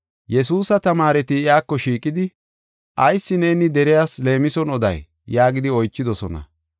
Yesuusa tamaareti iyako shiiqidi, “Ayis neeni deriyas leemison oday?” yaagidi oychidosona.